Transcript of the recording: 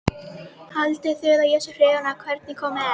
Haldið þið að ég sé hrifinn af hvernig komið er?